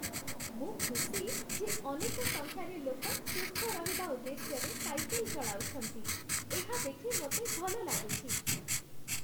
ମୁଁ ଖୁସି ଯେ ଅନେକ ସଂଖ୍ୟାରେ ଲୋକ ସୁସ୍ଥ ରହିବା ଉଦ୍ଦେଶ୍ୟରେ ସାଇକେଲ୍ ଚଳାଉଛନ୍ତି । ଏହା ଦେଖି ମୋତେ ଭଲ ଲାଗୁଛି।